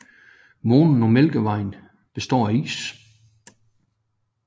Månen og Mælkevejen bestå af is